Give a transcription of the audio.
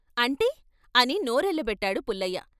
' అంటే ' అని నోరెళ్ళబెట్టాడు పుల్లయ్య.